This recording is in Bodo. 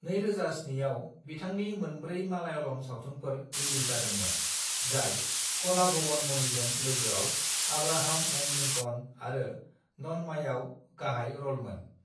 "2007 आव बिथांनि मोनब्रै मालायालम सावथुनफोर रिलिज जादोंमोन, जाय कलाभवन मणिजों लोगोआव आब्राहाम एण्ड लिंकन आरो नन्मायाव गाहाय र'लमोन।"